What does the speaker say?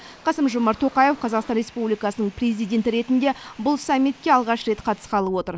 қасым жомарт тоқаев қазақстан республикасының президенті ретінде бұл саммитке алғаш рет қатысқалы отыр